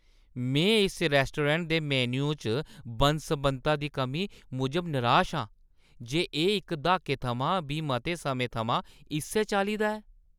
में इस रैस्टोरैंट दे मेन्यु च बन्न-सबन्नता दी कमी मूजब नराश आं ते एह् इक द्हाके थमां बी मते समें थमां इस्सै चाल्ली दा ऐ।